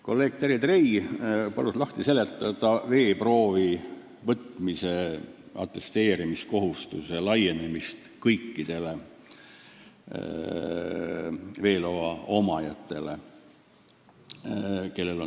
Kolleeg Terje Trei palus lahti seletada veeproovi võtmise ja atesteerimise kohustuse laienemist kõikidele veeloa omanikele.